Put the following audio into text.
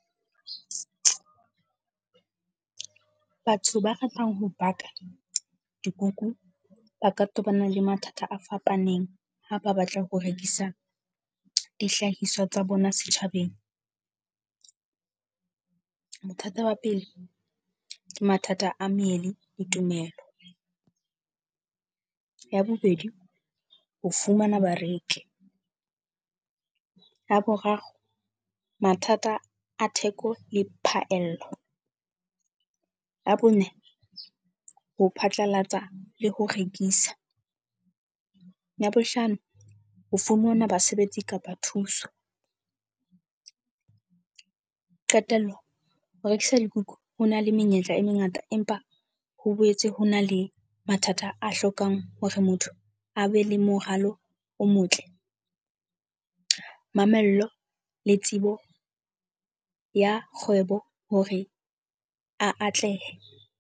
Batho ba ratang ho baka dikuku, ba ka tobana le mathata a fapaneng ha ba batla ho rekisa dihlahiswa tsa bona setjhabeng. Bothata ba pele ke mathata a mele le tumelo. Ya bobedi, o fumana bareki. Ya boraro, mathata a theko le phaello. Ya bone, ho phatlalatsa le ho rekisa. Ya bohlano, ho fumana basebetsi kapa thuso. Qetello, ho rekisa dikuku ho na le menyetla e mengata, empa ho boetse ho na le mathata a hlokang hore motho a be le moralo o motle, mamello le tsebo ya kgwebo, hore a atlehe.